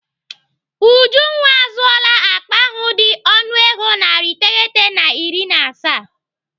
Ujunwa azụọla akpa ahụ dị ọnụego narị iteghete na iri na asaa.